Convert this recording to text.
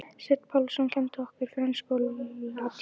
Sveinn Pálsson kenndi okkur frönsku og latínu.